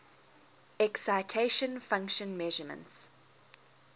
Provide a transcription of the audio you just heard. excitation function measurements